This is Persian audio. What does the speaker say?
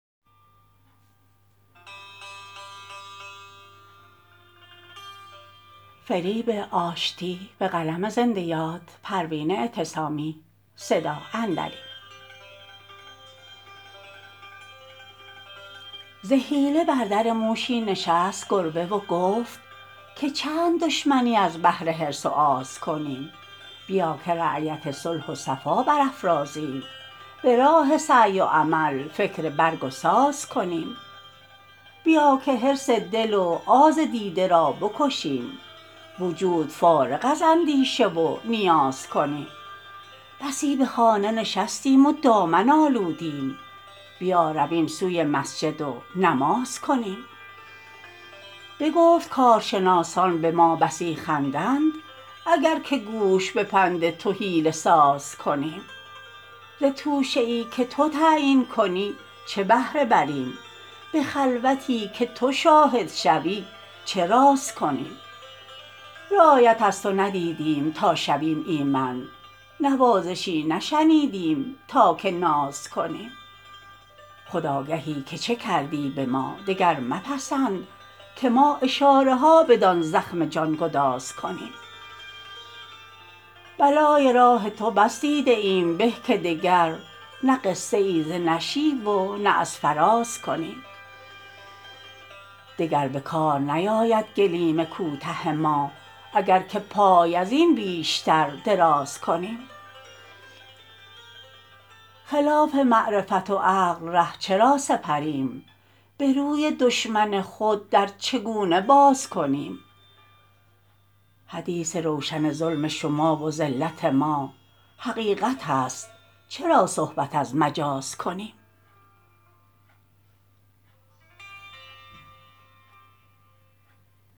ز حیله بر در موشی نشست گربه و گفت که چند دشمنی از بهر حرص و آز کنیم بیا که رایت صلح و صفا برافرازیم براه سعی و عمل فکر برگ و ساز کنیم بیا که حرص دل و آز دیده را بکشیم وجود فارغ از اندیشه و نیاز کنیم بسی بخانه نشستیم و دامن آلودیم بیا رویم سوی مسجد و نماز کنیم بگفت کارشناسان بما بسی خندند اگر که گوش به پند تو حیله ساز کنیم ز توشه ای که تو تعیین کنی چه بهره بریم بخلوتی که تو شاهد شوی چه راز کنیم رعایت از تو ندیدیم تا شویم ایمن نوازشی نشنیدیم تا که ناز کنیم خود آگهی که چه کردی بما دگر مپسند که ما اشاره ها بدان زخم جانگداز کنیم بلای راه تو بس دیده ایم به که دگر نه قصه ای ز نشیب و نه از فراز کنیم دگر بکار نیاید گلیم کوته ما اگر که پای ازین بیشتر دراز کنیم خلاف معرفت و عقل ره چرا سپریم بروی دشمن خود در چگونه باز کنیم حدیث روشن ظلم شما و ذلت ما حقیقت است چرا صحبت از مجاز کنیم